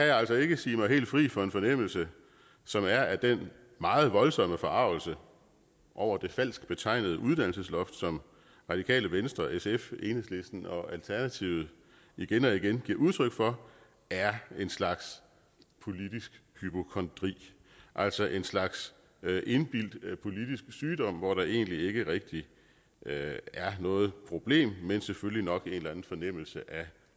jeg altså ikke sige mig helt fri for en fornemmelse som er at den meget voldsomme forargelse over det falsk betegnede uddannelsesloft som radikale venstre sf enhedslisten og alternativet igen og igen giver udtryk for er en slags politisk hypokondri altså en slags indbildt politisk sygdom hvor der egentlig ikke rigtig er noget problem men selvfølgelig nok en eller anden fornemmelse